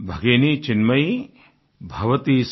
भगिनी चिन्मयि